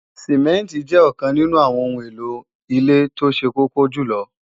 Sìmẹ́ǹtì jẹ́ ọ̀kan nínú àwọn ohun èlò ilé tó ṣe kókó jùlọ